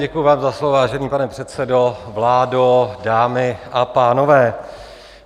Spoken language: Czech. Děkuji vám za slovo, vážený pane předsedo, vládo, dámy a pánové.